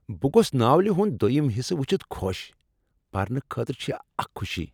بہٕ گوٚوس ناولِہ ہُند دویم حصہٕ وچھتھ خوش۔ پرنہٕ خٲطرٕ چھ یہ اکھ خوشی۔